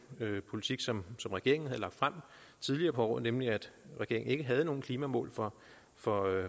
politik som regeringen havde lagt frem tidligere på året nemlig at regeringen ikke havde nogen klimamål for for